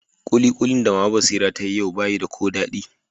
Kulikulin da mama Basira ta yi yau ba yi da ko dadi.